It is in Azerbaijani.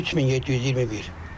3721.